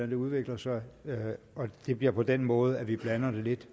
det udvikler sig og det bliver på den måde at vi blander det lidt